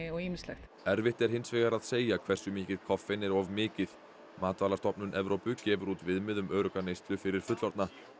og ýmislegt erfitt er hins vegar að segja hversu mikið koffein er of mikið matvælastofnun Evrópu gefur út viðmið um örugga neyslu fyrir fullorðna